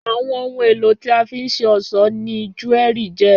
Àwọn ohun tí a fi nṣe ọ̀sọ́ ni júérì jẹ́.